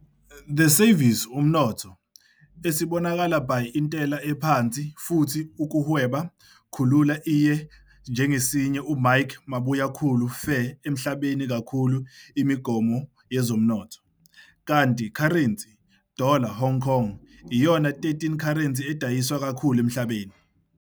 The service umnotho, esibonakala by intela ephansi futhi ukuhweba khulula iye njengesinye uMike Mabuyakhulu faire emhlabeni kakhulu imigomo yezomnotho, kanti currency, dollar Hong Kong, iyona 13 currency adayiswa kakhulu emhlabeni.